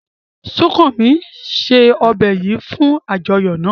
Sukanmi se ọbè yìí fún àjọyọ̀ náà.